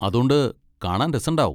അതോണ്ട് കാണാൻ രസണ്ടാവും.